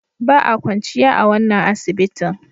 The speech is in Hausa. Ba a kwanciya a wannan asibitin.